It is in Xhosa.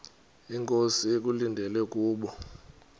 inkosi ekulindele kubo